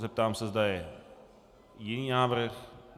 Zeptám se, zda je jiný návrh?